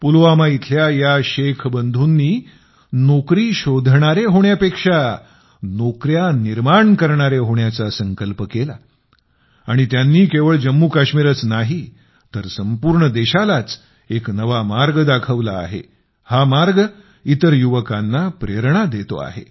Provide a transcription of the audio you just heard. पुलवामा इथल्या या शेख बंधूंनी नोकरी शोधणारे होण्यापेक्षा नोकऱ्या निर्माण करणारे होण्याचा संकल्प केला आणि ते केवळ जम्मूकाश्मीरच नाही तर संपूर्ण देशालाच एक नवा मार्ग दाखवत आहेत हा मार्ग इतर युवकांना प्रेरणा देतो आहे